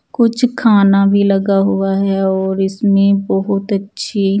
कुछ खाना भी लगा हुआ है और इसमें बहुत अच्छी--